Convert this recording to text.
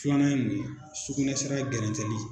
Filanan ye mun ye sukunɛsira gɛrɛntɛli.